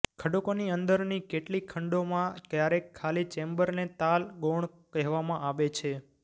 ખડકોની અંદરની કેટલીક ખંડોમાં ક્યારેક ખાલી ચેમ્બરને તાલ ગૌણ કહેવામાં આવે છે